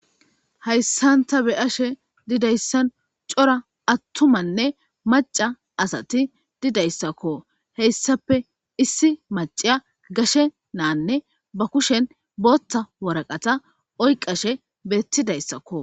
hayssan ta be'ashe didayssan cora attumanne maca asati didayssakko heyssape issi maciya gashe naanne ba kushen bootta waraqata oyqashe beettidayssakko